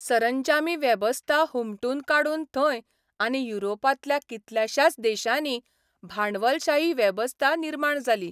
सरंजामी वेबस्था हुमटून काडून थंय आनी युरोपांतल्या कितल्याशाच देशांनी भांडवलशाही वेबस्था निर्माण जाली.